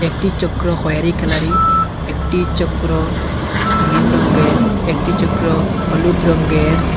একটি চক্র খয়েরী কালারি একটি চক্র গ্রীন রঙ্গের একটি চক্র হলুদ রঙ্গের ।